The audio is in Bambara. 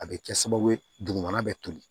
A bɛ kɛ sababu ye dugumana bɛ toli